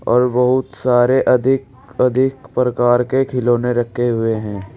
और बहुत सारे अधिक अधिक प्रकार के खिलौने रखे हुए हैं।